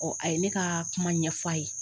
a ye ne ka kuma ɲɛf'a ye.